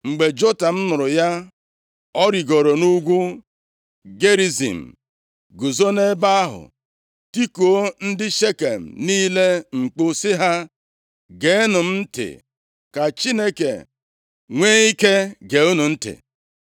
Mgbe Jotam nụrụ ya, o rigooro nʼugwu Gerizim + 9:7 \+xt Dit 11:29; 27:12; Jos 8:33\+xt* guzo nʼebe ahụ tikuo ndị Shekem niile mkpu si ha, “Geenụ m ntị ka Chineke nwe ike gee unu ntị.